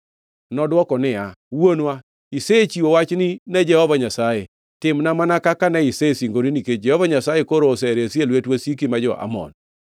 Nodwoko niya, “Wuonwa, isechiwo wachni ne Jehova Nyasaye. Timna mana kaka ne isesingori, nikech Jehova Nyasaye koro oseresi e lwet wasiki, ma jo-Amon.”